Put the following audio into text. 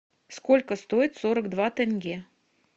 сколько стоит сорок два тенге